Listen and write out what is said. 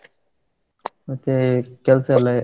ಮತ್ತೇ ಕೆಲ್ಸ ಎಲ್ಲಾ .